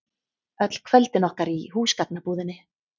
Öll kvöldin okkar í húsgagnabúðinni.